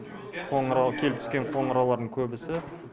қоңырау келіп түскен қоңыраулардың көбісі